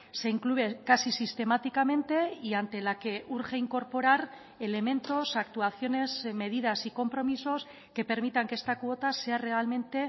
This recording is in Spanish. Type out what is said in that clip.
se incluyen casi sistemáticamente y ante la que urge incorporar elementos actuaciones medidas y compromisos que permitan que esta cuota sea realmente